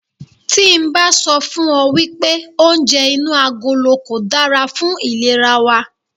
Tí n bá sọ fún ọ wípé oúnjẹ inú agolo kò dára fún ìlera wa.